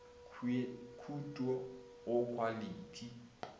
le khuet o go khwalithi